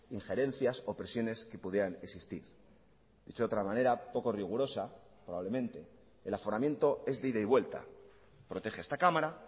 injerencias o presiones que pudieran existir dicho de otra manera poco rigurosa probablemente el aforamiento es de ida y vuelta protege a esta cámara